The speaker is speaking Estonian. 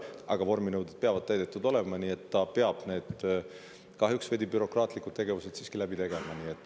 Aga vorminõuded peavad täidetud olema, nii et ta peab need kahjuks veidi bürokraatlikud tegevused siiski läbi tegema.